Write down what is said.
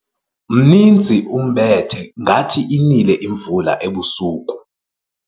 Mninzi umbethe ngathi inile imvula ebusuku.